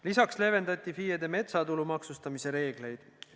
Lisaks leevendati FIE-de metsatulu maksustamise reegleid.